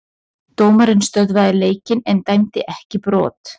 Dómarinn stöðvaði leikinn en dæmdi ekki brot.